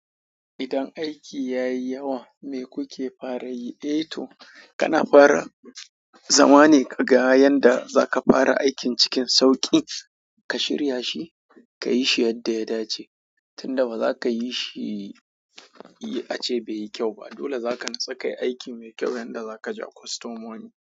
Idan aiki ya yi yawa, me kuke fara yi? Eh to, kana fara zama ne ka ga yanda za ka fara aikin cikin sauƙi. Ka shirya shi ka yi shi yanda ya dace. Tun da ba za ka yi shi, ace bai yi kyau ba. Dole za ka nutsu kai aiki mai kyau yanda za ka ja kwastomomi.